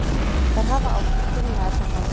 Þær hafa átt í trúnaðarsambandi.